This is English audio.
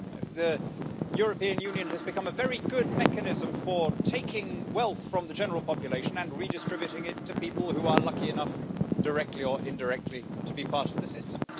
The European Union has become a very good mechanism for taking wealth from the general population and redistributing it to people who are lucky enough directly or indirectly to be part of the system.